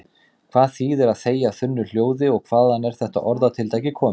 Hvað þýðir að þegja þunnu hljóði og hvaðan er þetta orðatiltæki komið?